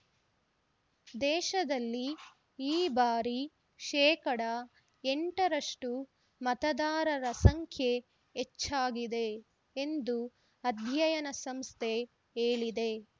ದೇಶದಲ್ಲಿ ಈ ಬಾರಿ ಶೇಕಡಾ ಎಂಟರಷ್ಟು ಮತದಾರರ ಸಂಖ್ಯೆ ಹೆಚ್ಚಾಗಿದೆ ಎಂದು ಅಧ್ಯಯನ ಸಂಸ್ಥೆ ಹೇಳಿದೆ